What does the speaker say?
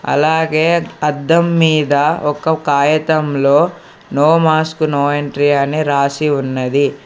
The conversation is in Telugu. అలాగే అద్దం మీద ఒక కాయతంలో నో మాస్క్ నో ఎంట్రీ అని రాసి ఉన్నది.